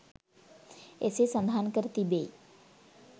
එසේ සඳහන් කර තිබෙ යි.